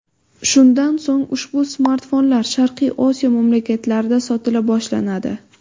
Shundan so‘ng, ushbu smartfonlar Sharqiy Osiyo mamlakatlarida sotila boshlanadi.